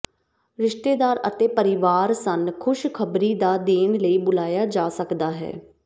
ਰਿਸ਼ਤੇਦਾਰ ਅਤੇ ਪਰਿਵਾਰ ਸਨ ਖ਼ੁਸ਼ ਖ਼ਬਰੀ ਦਾ ਦੇਣ ਲਈ ਬੁਲਾਇਆ ਜਾ ਸਕਦਾ ਹੈ